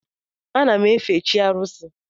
Ana m efe chi arusi.